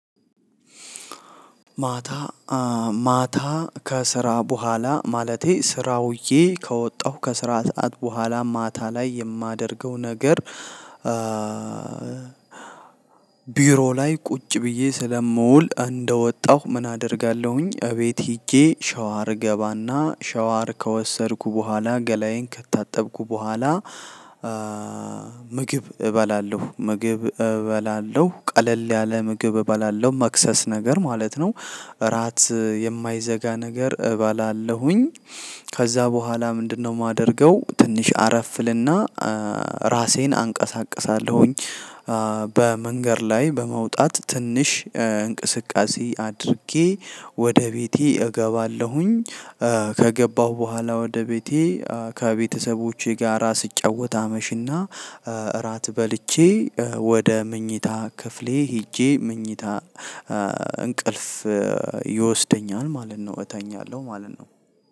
ማታ ከስራ በኋላ ማለቴ ስራውዬ ከወጣሁ ከስራ ሰዓት በኋላ ማታ ላይ የማደርገው ነገር። ቢሮ ላይ ቁጭ ብዬ ስለምውል እንደወጣሁ ምን አደርጋለሁኝ እቤት ሄጄ ሸወር እገባና ሸወር ከወሰድኩ በኋላ ገላዬን ከታጠብኩ በኋላ ምግብ እበላለሁ ምግብ እበላለሁ ቀለል ያለ ምግብ እበላለሁ መክሰስ ነገር ማለት ነው። እራት የማይዘጋ ነገር እባላለሁኝ። ከዛ በኋላ ምንድነው? የማደርገው ትንሽ አረፍእልና ራሴን አንቀሳቅሳለሁኝ። በመንገድ ላይ በመውጣት ትንሽ እንቅስቃሴ አድርጌ ወደ ቤቴ እገባለሁኝ። ከገባሁ በኋላ ወደ ቤቴ ከቤተሰቦቼ ጋራ ስጫወት አመሽና። እራት በልቼ ወደ መኝታ ክፍሌ ሄጄ መኝታ እንቅልፍ ይወስደኛል ማለት ነው እተኛለሁ ማለት ነው።